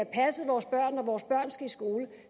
passet vores børn når vores børn skal i skole